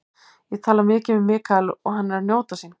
Ég tala mikið við Michael og hann er að njóta sín.